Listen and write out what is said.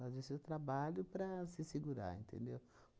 Fazer o seu trabalho para se segurar, entendeu?